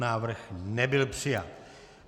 Návrh nebyl přijat.